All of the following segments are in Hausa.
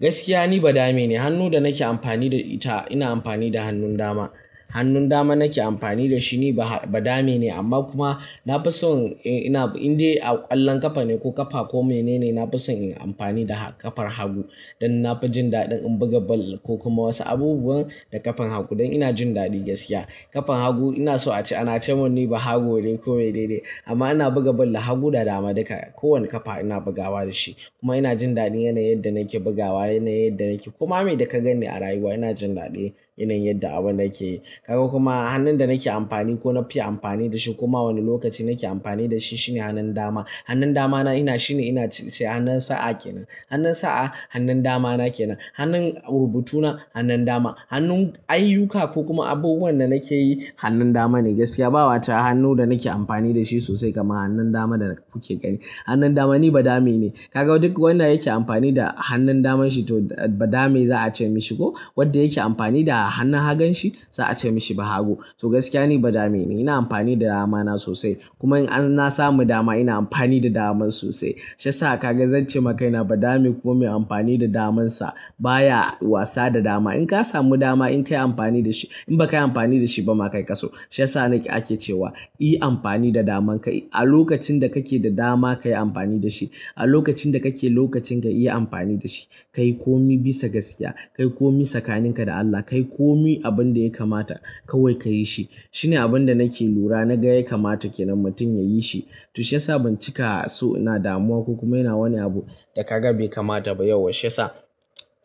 Gaskiya ni ba dame ne. Hannun da nake amfani da ita ina amfani da hannun dama. Hannun dama nake amfani da shi ni ba dame ne amma kuma na fi so in indai a ƙwallon ƙafa ne ko ƙafa ko mene ne, na fi so in yi amfani da ƙafar hagu. Dan na fi jin daɗin in buga ball ko kuma wasu abubuwan da ƙafar hagu. Dan ina jin daɗi gaskiya. Ƙafar hagu ina so a ce ana ce mun ni bahago ne ko menene. Amma ina buga ball da hagu da dama duka. Ko wane ƙafa ina bugawa da shi. Kuma ina jin daɗi yanayin yadda nake bugawa yana yadda nake. Kuma me da ka ganni a rayuwa ina jin daɗi yanayin yadda abu nake yi. Kaga kuma hannun da nake amfani ko na fi amfani da shi kuma wani lokaci nake amfani da shi shine hannun dama. Hannun damana ina shine ina se hannun sa'a ke nan. Hannun sa'a hannun damana ke nan. Hannun rubutu na hannun dama. Hannun ayyuka ko kuma abubuwan da nake yi hannun dama ne gaskiya. Ba wata hannu da nake amfani da shi sosai kamar hannun dama da kuke gani. Hannun dama ni ba dame ne. Ka ga duk wanda yake amfani da hannun daman shi to ba dame za a ce mishi ko wanda yake amfani da hannun hagun shi za a ce mashi bahago. To gaskiya ni ba dame ne. Ina amfani da damana sosai. Kuma in na samu dama ina amfani da daman sosai. Shi yasa ka ga zan ce ma kaina ba dame ko me amfani da damansa baya wasa da dama. In ka samu dama in ka yi amfani da shi. In ba ka yi amfani da shi ba ma kai ka so. Shi yasa ake cewa, "Yi amfani da daman ka yi a lokacin da kake da dama ka yi amfani da shi. A lokacin da kake lokacin ka yi amfani da shi. Kai komi bisa gaskiya. Kai komi tsakaninka da Allah. Kai komi abin da ya kamata kawai ka yi shi." Shine abin da nake lura na ga ya kamata kenan mutum ya yi shi. To shi yasa ban cika so ina damuwa ko kuma ina wani abu da ka ga bai kamata ba yau. Shi yasa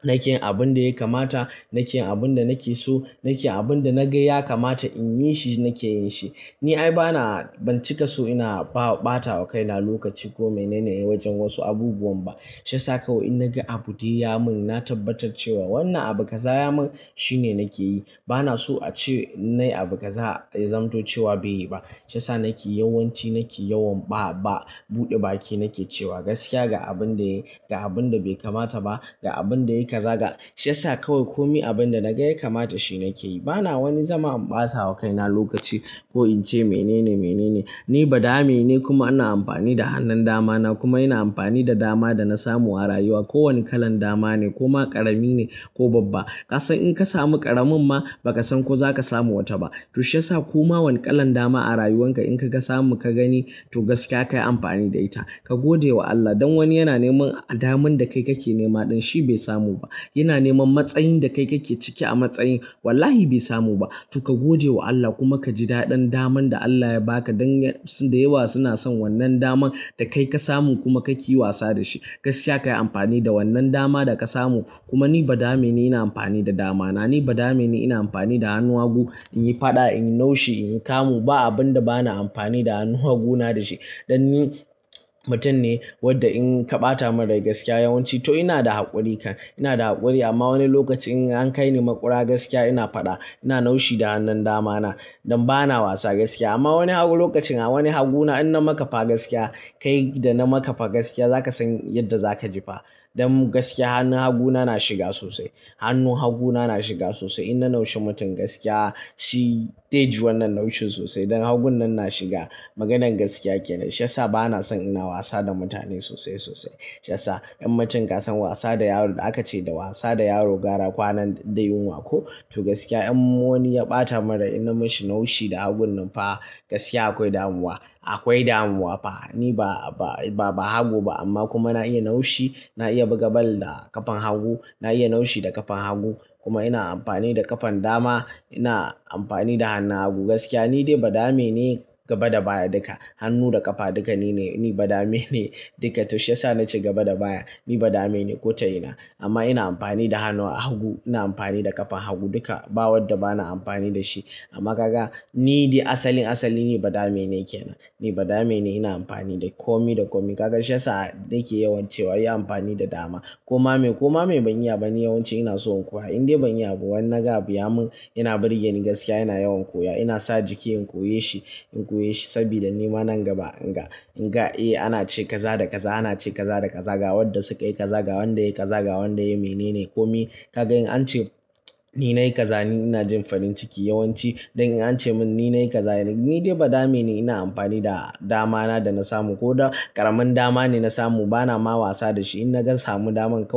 nake yin abin da ya kamata, nake yin abin da nake so, nake yin abin da na ga ya kamata in yi shi nake yin shi. Ni ai bana ban cika so ina ɓata wa kaina lokaci ko mene ne wajen wasu abubuwan ba. Shi yasa kawai in na ga abu dai ya mun na tabbatar cewa wannan abu kaza ya mun shine nake yi. Bana so a ce na yi abu ka za'a zamto cewa bai yi ba. Shan sa nake yawanci nake yawan ba buɗe baki nake cewa gaskiya ga abin da ya ga abin da bai kamata ba ga abin da ya kaza ga. Shi yasa kawai komi abin da na ga ya kamata shi nake yi. Bana wani zama in ɓata wa kaina lokaci ko in ce mene ne mene ne. Ni ba dame ne kuma ina amfani da hannun damana kuma ina amfani da dama da na samu a rayuwa. Ko wane kalan dama ne koma ƙarami ne ko babba. Ka san in ka samu ƙaramin ma ba ka san ko za ka samu wata ba. To shi yasa koma wane kalan dama a rayuwanka in kaga samu ka gani to gaskiya kayi amfani da ita. Ka gode wa Allah. Dan wani yana neman daman da kai kake nema ɗin shi be samu ba. Yana neman matsayin da kai kake ciki a matsayin wallahi bai samu ba. To ka gade wa Allah kuma kaji dadin daman da Allah ya baka don da yawa suna son wannan daman da kai ka samu kuma kake wasa da shi. Gaskiya ka yi amfani da wannan dama da ka samu. Kuma ni badame ni ina amfani da damana. Ni badame ne ina amfani da hannun hagu inyi fada inyi naushi inyi kamu. Ba abun da bana amfani da hannu haguna da shi. Dan ni mutum ne wadda in ka ɓata mun rai gaskiya yawanci to ina da haƙuri kan. Ina da haƙuri amma wani lokaci in an kai ni maƙura gaskiya ina faɗa ina naushi da hannun damana. Dan bana wasa gaskiya. Amma wani hagu lokacin a wani haguna in na maka fa gaskiya kai da na maka fa gaskiya za ka san yadda za ka ji fa. Dan gaskiya hannun haguna na shiga sosai. Hannun haguna na shiga sosai. In na naushi mutum gaskiya shi zai ji wannan naushin sosai. Dan hagu nan na shiga. Maganar gaskiya kenan, shi yasa bana son ina wasa da mutane sosai sosai. Shi yasa in mutum ka san wasa da yaro da aka ce da wasa da yaro gara kwanan da yinwa ko. To gaskiya in wani ya ɓata mun rai ina mishi naushi da hagun nan fa gaskiya akwai damuwa. Akwai damuwa fa. Ni ba hagu ba amma kuma na iya naushi. Na iya buga ball da ƙafar hagu. Na iya naushi da ƙafar hagu. Kuma ina amfani da ƙafan dama. Ina amfani da hannu hagu. Gaskiya ni dai ba dame ne gaba da baya duka. Hannu da ƙafa duka nine. Ni ba dame ne duka. To shi yasa na ce gaba da baya ni badame ne ko ta ina. Amma ina amfani da hannuwa hagu. Ina amfani da ƙafar hagu duka. Ba wadda bana amfani da shi. Amma kaga ni dai asalin asali ni ba dame ne ke nan. Ni ba dame ne ina amfani da komi da komi. Kaga shi yasa nake yawan cewa, "Yi amfani da dama." Koma me koma me ban yi ba ni yawanci ina so in koya. Indai ban yi abu wanda ga abu ya mun ina birge ni gaskiya ina yawan koya. Ina sa jiki in koye shi in koya shi sabida ni ma nan gaba in ga in ga eh ana ce kaza da kaza ana ce kaza da ka ga. Wadda su kai ka za ga wanda ya yi ka za ga wanda ya yi mene ne komi. Kaga in an ce ni na yi kaza ni ina jin farin ciki yawanci. Dan in an ce mun ni na yi kaza ni ni dai ba dame ni ina amfani da damana da na samu. Ko da ƙaramin dama ne na samu bana ma wasa da shi. In na gan samu daman kawai.